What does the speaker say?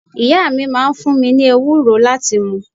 Ìyá mi máa ń fun mi ni ewúro láti mu